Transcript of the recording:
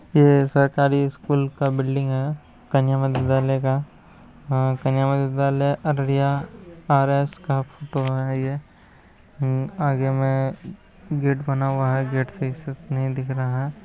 ये सरकारी स्कूल का बिल्डिंग है कन्या मध्य विध्यालय का। कन्या मध्य विध्यालय अररिया आर_एस का फोटो है ये। आगे में गेट बना हुआ है। गेट सही से नहीं दिख रहा है ।